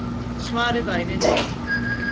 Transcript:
Svarið væri nei